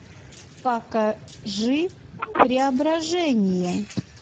покажи преображение